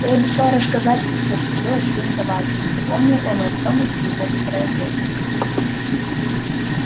ты обещал рассказать мне что случилось с твоим товарищем напомнил он артёму через некоторое время